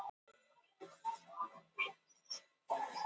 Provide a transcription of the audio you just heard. Félagar í þeim samtökum biðja um að mega koma í heimsókn í haust.